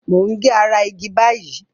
Mo ń ge ara igi báyìí.